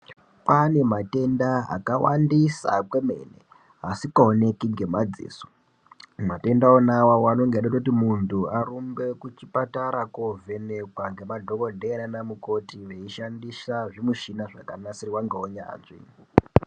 Kwane matenda akawandisa kwemene asikaoneki ngemadziso , matenda wona awawo inenge eida kuti muntu arumbe kuchipatara kovhenekwa ngemadhokodhera nana mukoti veishandisa zvimushina zvakanasirwa ngeunyanzvi.